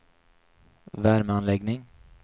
värmeanläggning